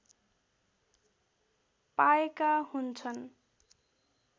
पाएका हुन्छन्